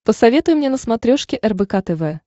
посоветуй мне на смотрешке рбк тв